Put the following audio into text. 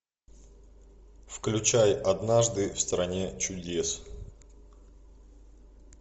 включай однажды в стране чудес